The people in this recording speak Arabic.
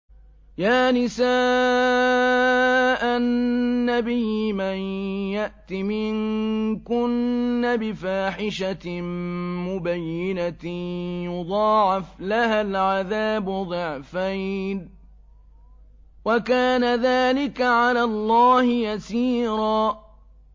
يَا نِسَاءَ النَّبِيِّ مَن يَأْتِ مِنكُنَّ بِفَاحِشَةٍ مُّبَيِّنَةٍ يُضَاعَفْ لَهَا الْعَذَابُ ضِعْفَيْنِ ۚ وَكَانَ ذَٰلِكَ عَلَى اللَّهِ يَسِيرًا